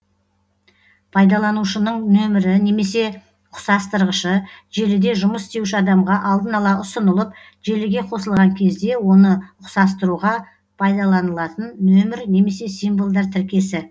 пайдаланушының нөмірі немесе ұқсастырғышы желіде жұмыс істеуші адамға алдын ала ұсынылып желіге қосылған кезде оны ұқсастыруға пайдаланылатын нөмір немесе символдар тіркесі